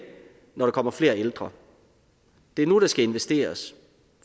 når der kommer flere ældre det er nu der skal investeres